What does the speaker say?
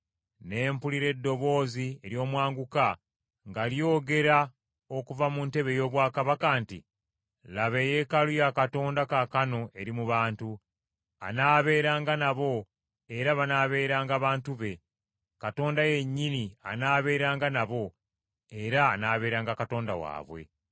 Ne mpulira eddoboozi ery’omwanguka nga lyogera okuva mu ntebe ey’obwakabaka nti, “Laba eyeekaalu ya Katonda kaakano eri mu bantu, anaabeeranga nabo era banaabeeranga bantu be, Katonda yennyini anaaberanga nabo, era anaabeeranga Katonda waabwe.